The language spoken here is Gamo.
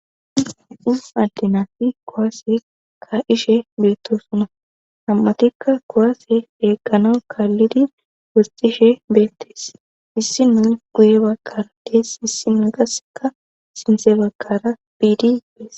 kuwaase ka7ishe beettosuna ham7atikka kowaase eeqqano kaallidi worxishe beettees issi mu guye bagkara dees issi muu qasseka sinse bagkara biidi beese